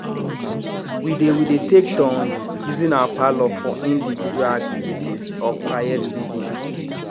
we dey we dey take turns using our parlour for individual activities or quiet reading